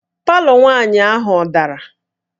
Palọ nwaanyị ahụ ọ dara?